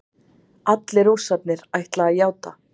Allir Rússarnir ætla að játa